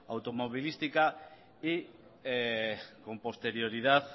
automovilística y con posterioridad